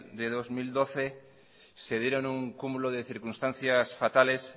de dos mil doce se dieron un cúmulo de circunstancias fatales